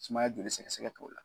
Sumaya joli sɛgɛsɛgɛ k'o la